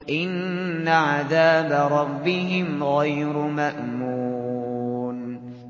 إِنَّ عَذَابَ رَبِّهِمْ غَيْرُ مَأْمُونٍ